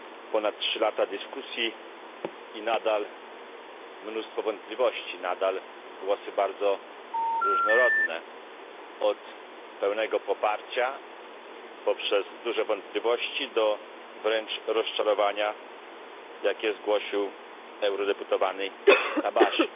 Ponad trzy lata dyskusji i nadal mnóstwo wątpliwości, nadal głosy bardzo różnorodne od pełnego poparcia, poprzez duże wątpliwości, do wręcz rozczarowania, jakie zgłosił eurodeputowany Tabajdi.